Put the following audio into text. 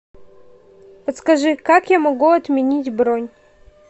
подскажи как я могу отменить бронь